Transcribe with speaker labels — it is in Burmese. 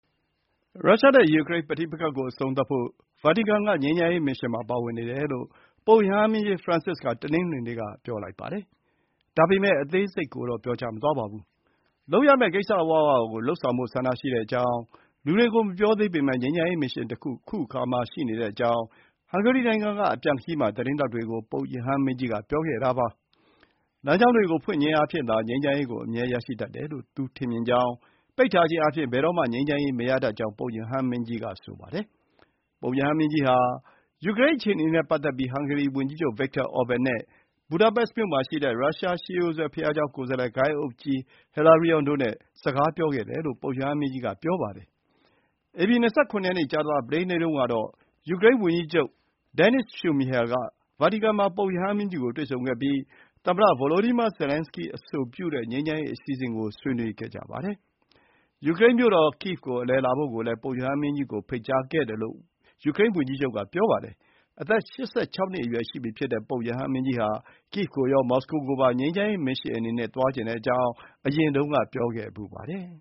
Speaker 1: ရုရှားနဲ့ ယူကရိန်းပဋိပက္ခကိုအဆုံးသတ်ဖို့ ဗာတီကန်က ငြိမ်းချမ်းရေးမစ်ရှင်မှာ ပါဝင်နေတယ်လို့ ပုပ်ရဟန်းမင်းကြီး Francis က တနင်္ဂနွေနေ့က ပြောလိုက်ပါတယ်။ ဒါပေမဲ့ အသေးစိတ်ကိုတော့ မပြောပါဘူး။ လုပ်ရမယ့်ကိစ္စအဝဝကို လုပ်ဆောင်ဖို့ဆန္ဒရှိကြောင်း၊ လူတွေကို မပြောသေးပေမဲ့ ငြိမ်းချမ်းရေးမစ်ရှင်တခု ခုအခါမှာရှိနေကြောင်း၊ ဟန်ဂေရီနိုင်ငံက အပြန်ခရီး မှာ သတင်းထောက်တွေကို ပုပ်ရဟန်းမင်းကြီးက ပြောပါတယ်။ လမ်းကြောင်းတွေကိုဖွင့်ခြင်းအားဖြင့်သာ ငြိမ်းချမ်းရေးအမြဲရရှိတတ်တယ်လို့ သူထင်မြင်ကြောင်း၊ ပိတ်ထားခြင်းအားဖြင့် ဘယ်တော့မှ ငြိမ်းချမ်းရေးမရတတ်ကြောင်း၊ ပုပ်ရဟန်းမင်းကြီးက ပြောပါတယ်။ ပုပ်ရဟန်းမင်းကြီးဟာ ယူကရိန်း အခြေအနေနဲ့ပတ်သက်ပြီး ဟန်ဂေရီဝန်ကြီးချုပ် Viktor Orban နဲ့ ဘူဒါပက်မြို့မှာရှိတဲ့ ရုရှား ရှေးရိုးစွဲဘုရားကျောင်း ကိုယ်စားလှယ်ဂိုဏ်းအုပ်ဘုန်းကြီး Hilarion တို့နဲ့ စကားပြောခဲ့တယ်လို့ ပုပ်ရဟန်းမင်းကြီးက ပြောပါတယ်။ ဧပြီ ၂၇ ရက် ကြာသပတေးနေ့တုန်းကတော့ ယူကရိန်းဝန်ကြီးချုပ် ဒန်နစ်စ် ရှုမီဟယ်( Denys Shmyhal) က ဗာတီကန်မှာ ပုပ်ရဟန်းမင်းကြီးကို တွေ့ဆုံခဲ့ပြီး သမ္မတ Volodymyr Zelenskiy အဆိုပြုတဲ့ ငြိမ်းချမ်းရေးအစီအစဥ်ကို ဆွေးနွေးခဲ့ကြပါတယ်။ ယူကရိန်းမြို့တော် ကိဗ် ကို အလည်လာဖို့လည်း ပုပ်ရဟန်းမင်းကြီးကို ဖိတ်ကြားခဲ့တယ်လို့ ဝန်ကြီးချုပ်က ပြောပါတယ်။ အသက် ၈၆ နှစ် အရွယ်ရှိပြီဖြစ်တဲ့ ပုပ်ရဟန်းမင်းကြီးဟာ ကိဗ် ကိုရော မော်စကို,ကိုပါ ငြိမ်းချမ်းရေး မစ်ရှင်အနေနဲ့ သွားချင်ကြောင်း အရင်တုန်းက ပြောခဲ့ဖူးပါတယ်